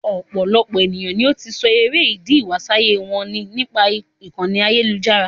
Ọ̀pọ̀lọpọ̀ èniyàn ni ó ti sọ èrè ídì ìwásáyé wọn ní nípa ìkànì ayélujára.